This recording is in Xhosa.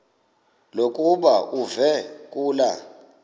lokuba uve kulaa